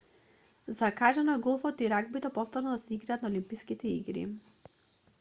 закажано е голфот и рагбито повторно да се играат на олимписките игри